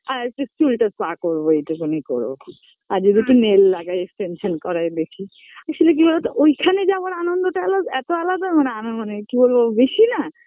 আর just চুলটা spa করবো এইটুকুনি করবো